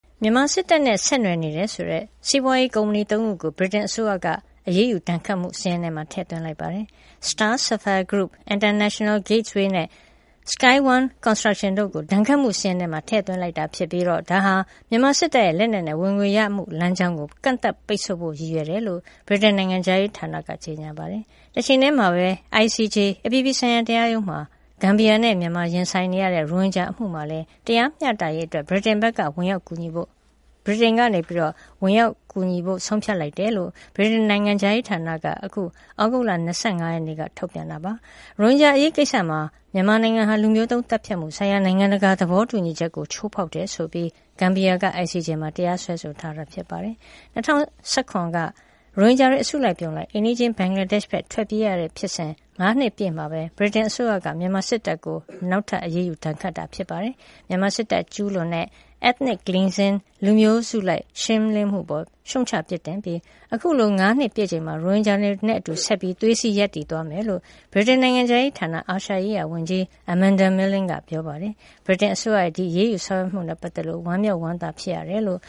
မြန်မာစစ်တပ်နဲ့ ဆက်နွယ်နေတယ်ဆိုတဲ့ စီးပွားရေးကုမ္ပဏီသုံးခုကို ဗြိတိန်အစိုးရရဲ့ အရေးယူဒဏ်ခတ်မှုစာရင်းထဲ ထည့်သွင်းလိုက်ပါတယ်။ Star Sapphire Group ၊ International Gateways Group နဲ့ Sky One Construction တို့ကို ဒဏ်ခတ်မှုစာရင်းထဲ ထည့်သွင်းတာဖြစ်ပြီး ဒါဟာ မြန်မာစစ် တပ်ရဲ့ လက်နက်နဲ့ဝင်ငွေရရှိမှုလမ်းကြောင်းကို ကန့်သတ်ပိတ်ဆို့ဖို့ရည်ရွယ်တယ် လို့ ဗြိတိန်နိုင်ငံခြားရေးဌာနက ကြေညာပါတယ်။ တချိန်တည်းမှာပဲ ICJ အပြည်ပြည်ဆိုင်ရာတရားရုံးမှာ ဂမ်ဘီယာနဲ့ မြန်မာရင်ဆိုင်နေရတဲ့ ရိုဟင်ဂျာအမှုမှာလည်း တရားမျှတရေးအတွက် ဗြိတိန်ဘက်က ဝင်ရောက်ကူညီသွားဖို့ ဆုံးဖြတ်လိုက်တယ်လို့လည်း ဗြိတိန်နိုင်ငံခြားရေးဌာနက အခု ဩဂုတ်လ ၂၅ ရက်နေ့မှာ ထုတ်ပြန် ပါတယ်။ ရိုဟင်ဂျာအရေးကိစ္စမှာ မြန်မာနိုင်ငံဟာ လူမျိုးသုဉ်းသတ်ဖြတ်မှုဆိုင်ရာ နိုင်ငံတကာ သဘောတူညီချက်ကို ချိုးဖောက်တယ်ဆိုပြီး ဂမ်ဘီယာနိုင်ငံက ICJ မှာ တရားစွဲဆိုခဲ့တာပါ။ ၂၀၁၇ ခုနှစ်က ရိုဟင်ဂျာတွေ အစုအပြုံလိုက် အိမ်နီးချင်းဘင်္ဂလားဒေ့ရ်ှနိုင်ငံကို ထွက်ပြေးခဲ့ရတဲ့ဖြစ်စဉ် ၅ နှစ်ပြည့်မှာပဲ ဗြိတိန်အစိုးရ မြန်မာစစ် တပ်ကို နောက်ထပ်အရေးယူဒဏ်ခတ်မှုတိုးလိုက်တာပါ။ မြန်မာစစ်တပ်က ကျူးလွန်ခဲ့တဲ့ Ethnic Cleansing လူမျိုးစုလိုက်ရှင်းလင်းမှုအပေါ် ရှုတ်ချပြစ်တင်ပြီး အခုလို ငါးနှစ်ပြည့်အချိန်မှာ ရိုဟင်ဂျာတွေနဲ့အတူ ဆက်ပြီး သွေးစည်းရပ်တည်သွားမယ်လို့ ဗြိတိန်နိုင်ငံခြားရေးဌာန အာရှရေးရာဝန်ကြီး Amanda Milling က ပြောပါတယ်။ ဗြိတိန်အစိုးရဲ့ ဒီအရေးယူမှုတွေနဲ့ပတ်သက်လို့ ဝမ်းမြောက်ဝမ်းသာဖြစ်ရတယ်လို့